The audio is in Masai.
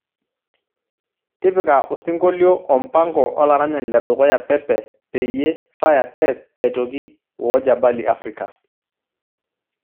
tipika osinkolio o mpango olaranyani le dukuya pepe peyie faya tess aitoki woo jabali afrika